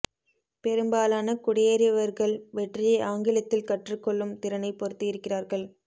பெரும்பாலான குடியேறியவர்கள் வெற்றியை ஆங்கிலத்தில் கற்றுக் கொள்ளும் திறனைப் பொறுத்து இருக்கிறார்கள்